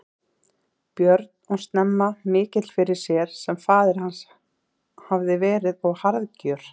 Björn og snemma mikill fyrir sér sem faðir hans hafði verið og harðgjör.